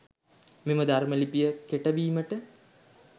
මෙම ධර්ම ලිපිය කෙටවීමට